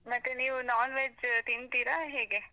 ಮತ್ತೆ ನೀವು non veg ತಿಂತೀರ ಹೇಗೆ?